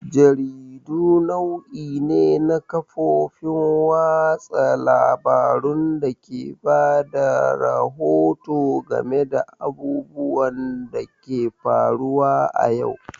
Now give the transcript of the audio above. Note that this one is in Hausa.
Jaridu nau'i ne na kafofin watsa labarun dake bada rahoto game da abubuwan da ke faruwa a yau.